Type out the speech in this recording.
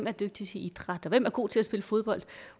er dygtige til idræt og hvem der er gode til at spille fodbold